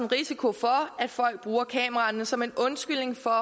risiko for at folk bruger kameraerne som en undskyldning for